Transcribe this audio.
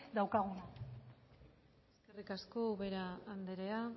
daukaguna eskerrik asko ubera anderea